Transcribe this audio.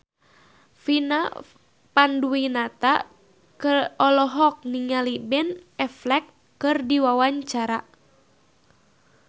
Vina Panduwinata olohok ningali Ben Affleck keur diwawancara